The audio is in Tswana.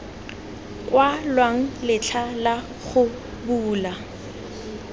kwalwang letlha la go bula